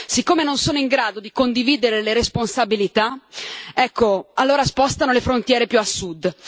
Siccome non sono in grado di condividere le responsabilità, ecco, allora spostano le frontiere più a sud.